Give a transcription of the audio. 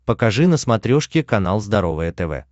покажи на смотрешке канал здоровое тв